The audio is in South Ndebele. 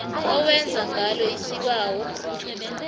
owenza ngalo isibawo